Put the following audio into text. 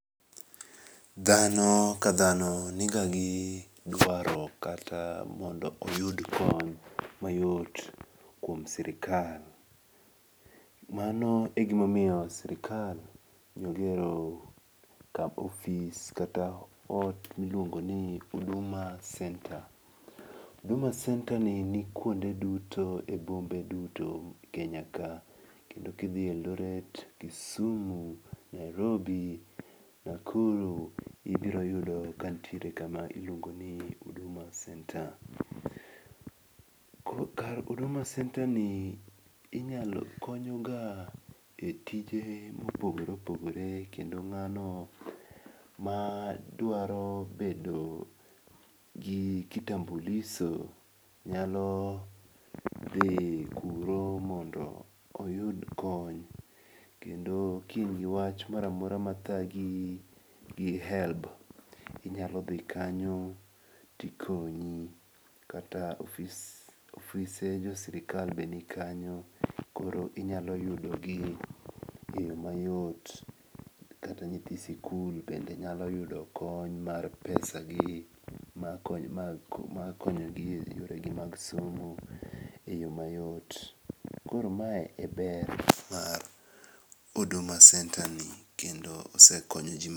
Dhano kadhano niga gi dwaro kata mondo oyud kony mayot kuom sirikal. Mano egimomiyo sirikal nogero ofis kata ot miluongoni huduma centre. Huduma centre ni kuonde duto ebombe duto Kenya ka, kendo kidhi Eldoret, Kisumu, Nairobi, Nakuru ibiroyudo kantiere kama iluongoni huduma centre. Kar huduma centreni inyalo konyoga e tije mopogore opogore kendo ng'ano madwaro bedo gi kitambuliso nyalo dhi kuro mondo oyud kony, kendo kin giwach moramora madhagi gi helb inyalodhi kanyo tikonyi, kata ofise josirikal be nikanyo koro inyalo yudogi e yo mayot, kata nyithi sikul bende nyalo yudo kony mar pesagi mag konyogi yoregi mag somo e yo mayot, koro mae e ber mar huduma centreni kendo osekonyo jii.